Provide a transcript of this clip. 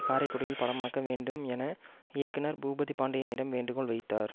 காரைக்குடியில் படமாக்க வேண்டும் என இயக்குனர் பூபதி பாண்டியனிடம் வேண்டுகோள் வைத்தார்